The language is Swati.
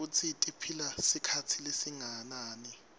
nekutsi tiphila sikhatsi lesinganani